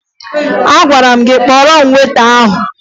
Agwara m gị kpọọrọ m weta ahụ!